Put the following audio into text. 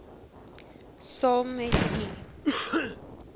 saam met u